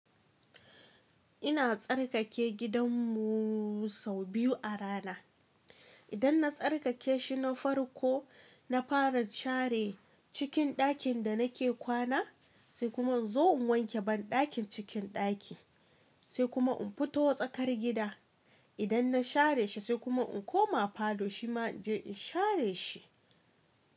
Ina tsarkake gidan mu sau biyu a rana. Idan na tsarkake shi na farko, na fara share cikin dakin da nake kwana, sai kuma inzo in wanke ban dakin cikin daki, sai kuma in fito tsakar gida. Idan na share shi sai kuma in koma falo shi ma in je in share shi.